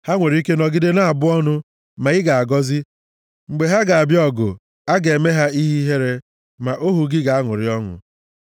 Ha nwere ike nọgide na-abụ ọnụ, ma ị ga-agọzi; mgbe ha ga-abịa ọgụ, a ga-eme ha ihe ihere, ma ohu gị ga-aṅụrị ọṅụ.